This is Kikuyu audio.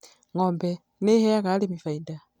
Ng'ombe nĩ ĩheaga arĩmi faida